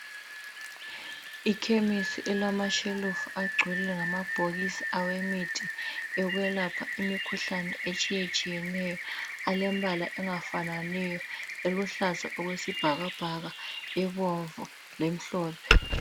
Ikhemisi elamashelufu agcele ngamabhokisi awemithi yokwelapha imikhuhlane etshiye-tshiyeneyo alembala engafananiyo eluhlaza okwesibhakabhaka ebomvu lemhlophe